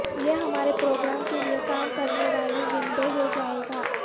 یہ ہمارے پروگرام کے لیے کام کرنے والی ونڈو ہو جائے گا